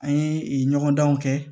An ye ɲɔgɔndanw kɛ